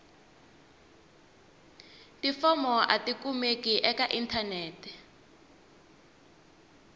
tifomo a tikumeki eka inthanete